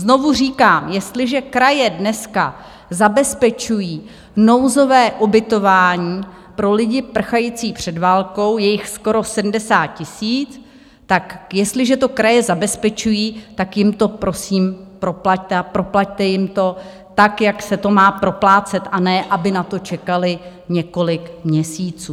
Znovu říkám, jestliže kraje dneska zabezpečují nouzové ubytování pro lidi prchající před válkou, je jich skoro 70 000, tak jestliže to kraje zabezpečují, tak jim to prosím proplaťte, a proplaťte jim to tak, jak se to má proplácet, a ne aby na to čekaly několik měsíců.